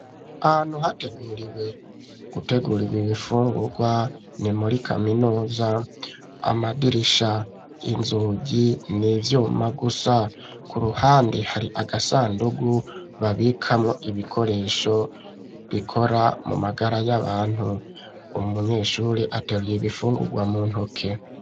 Ahantu hateguriwe gutegurirwa ibifungurwa ni muri kaminuza, amadirisha inzugi n'ivyuma gusa, ku ruhande hari agasandugu babikamwo ibikoresho bikora mu magara y'abantu, umunyeshuri ateruye ibifungurwa mu ntoke.